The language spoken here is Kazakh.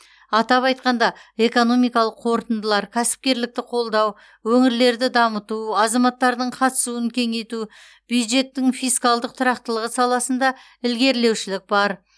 атап айтқанда экономикалық қорытындылар кәсіпкерлікті қолдау өңірлерді дамыту азаматтардың қатысуын кеңейту бюджеттің фискалдық тұрақтылығы саласында ілгерілеушілік бар